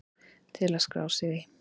Til að skrá sig í